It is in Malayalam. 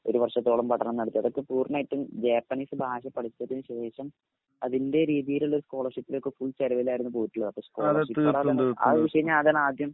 ഒരു വർഷത്തോളം പഠനം നടത്തി അതൊക്കെ പൂർണ്ണമായിട്ടും ജാപ്പനീസ് ഭാഷ പഠിച്ചതിനുശേഷം അതിൻറെ രീതിയിലുള്ള സ്കോളർഷിപ്പിന്റെ ഒക്കെ ഫുൾ ചെലവിലായിരുന്നു പോയിട്ടുള്ളത്. അതാണാദ്യം